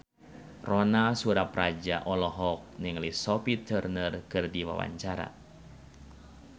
Ronal Surapradja olohok ningali Sophie Turner keur diwawancara